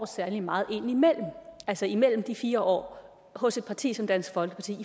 særlig meget indimellem altså imellem de fire år hos et parti som dansk folkeparti i